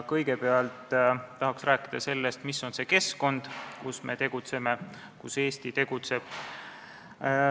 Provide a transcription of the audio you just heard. Kõigepealt tahaks rääkida sellest, mis on see keskkond, kus me tegutseme, kus Eesti tegutseb.